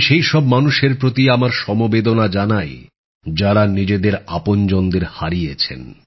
আমি সেই সব মানুষের প্রতি আমার সমবেদনা জানাই যাঁরা নিজেদের আপনজনদের হারিয়েছেন